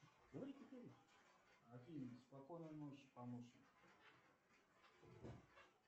афина спокойной ночи помощник